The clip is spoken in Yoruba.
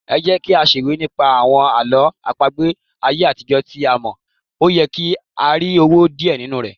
Ẹjẹ́kí á ṣèwé nípa àwọn Àlọ́ àpagbè ayé àtijó tí a mọ̀, óyẹ kí á rí owó díẹ̀ nínú ẹ̀.